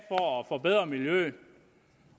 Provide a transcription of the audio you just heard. forbedre miljøet